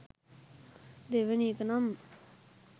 දෙවනි එක නම්